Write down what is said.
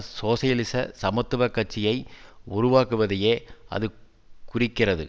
சோசியலிச சமத்துவ கட்சியை உருவாக்குவதையே அது குறிக்கிறது